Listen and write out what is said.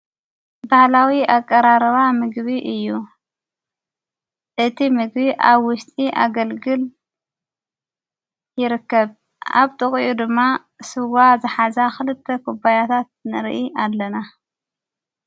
በሕላዊ ኣቀራረባ ምግቢ እዩ እቲ ምግቢ ኣብ ውሽጢ ኣገልግል ይርከብ ኣብ ጥቕዩ ድማ ሥዋ ዘሓዛ ኽልተ ኽበያታት ንርኢ ኣለና።